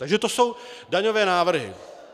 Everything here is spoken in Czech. Takže to jsou daňové návrhy.